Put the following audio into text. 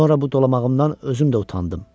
Sonra bu dolamağımdan özüm də utandım.